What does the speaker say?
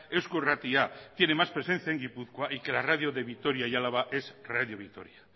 eusko irratia tiene más presencia en gipuzkoa y que la radio de vitoria y de álava es radio vitoria